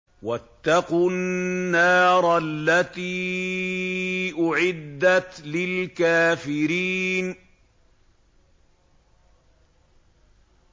وَاتَّقُوا النَّارَ الَّتِي أُعِدَّتْ لِلْكَافِرِينَ